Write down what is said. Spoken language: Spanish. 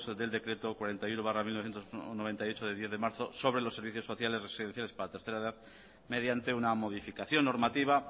del decreto cuarenta y uno barra mil novecientos noventa y ocho de diez de marzo sobre los servicios sociales residenciales para la tercera edad mediante una modificación normativa